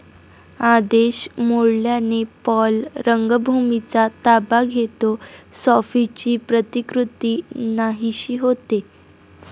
आदेश मोडल्याने पॉल रंगभूमीचा ताबा घेतो, सॉफीची प्रतिकृती नाहीशी होते.